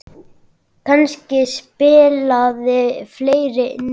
Kannski spilaði fleira inn í.